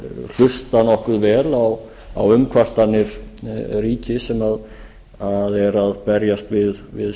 hlusta nokkuð vel á umkvartanir ríkis sem er að berjast við